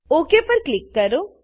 okay પર click કરો